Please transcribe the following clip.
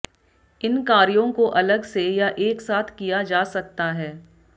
इन कार्यों को अलग से या एक साथ किया जा सकता है